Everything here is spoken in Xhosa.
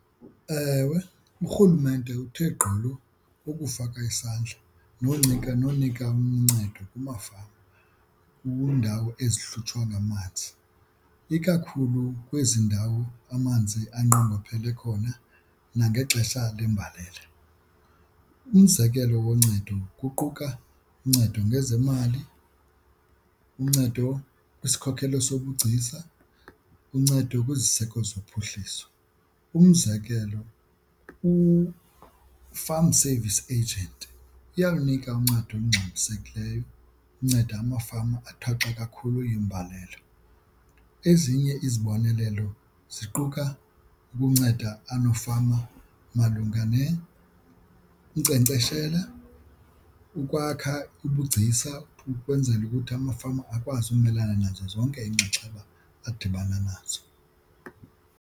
Ewe, urhulumente uthe gqolo ukufaka isandla nonika nonika uncedo kumafama kwiindawo ezihlutshwa ngamanzi ikakhulu kwezi ndawo amanzi anqongophele khona nangexesha lembalela. Umzekelo woncedo kuquka uncedo ngezemali, uncedo kwisikhokelo sobugcisa, uncedo kweziseko zophuhliso. Umzekelo uFarm Service Agent iyakunika uncedo olungxamisekileyo unceda amafama athwaxa kakhulu yimbalela. Ezinye izibonelelo ziquka ukunceda umafama malunga unkcenkceshela, ukwakha ubugcisa ukwenzela ukuthi amafama akwazi ukumelana zonke iinxaxheba adibana nazo.